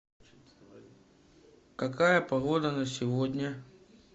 какая погода на сегодня